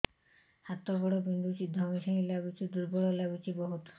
ହାତ ଗୋଡ ବିନ୍ଧୁଛି ଧଇଁସଇଁ ଲାଗୁଚି ଦୁର୍ବଳ ଲାଗୁଚି ବହୁତ